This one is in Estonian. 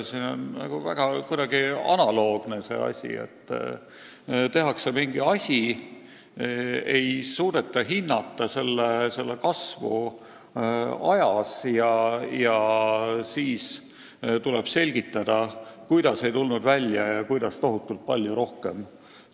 Sellega on nagu kuidagi väga analoogne probleem: tehakse mingi projekt, ei suudeta hinnata selle kasvu ajas ja siis tuleb selgitada, miks asi ei tulnud välja ja miks läheb see maksma tohutult palju rohkem.